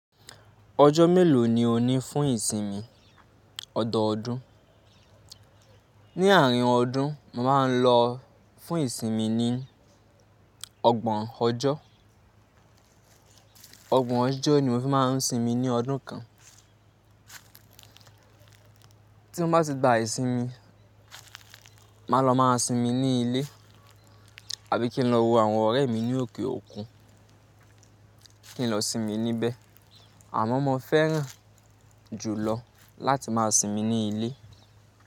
Ọjọ́ mélòó ni o ní fún ìsinmi ọ̀dọọdún? Ni àárín ọdún, mo màá ń lọ fún ìsinmi ní ọgbọ̀n ọjọ́. Ọgbọ̀n ọjọ́ ni mo fi máa ń sinmi ní ọdún kan. Tí mo bá ti gba ìsinmi, máa lọ máa sinmi ní ilé àbí kí n lọ wo àwọn ọ̀rẹ́ mi ní òkè òkun, kí n lọ sinmi níbẹ̀. Àmọ́ mo fẹ́ràn jùlọ láti máa sinmi ní ilé.